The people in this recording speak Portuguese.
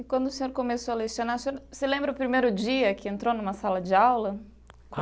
E quando o senhor começou a lecionar, o senhor se lembra o primeiro dia que entrou numa sala de aula?